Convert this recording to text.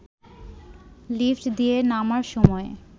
lift দিয়ে নামার সময়